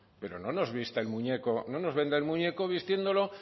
pero no nos venda el muñeco vistiéndolo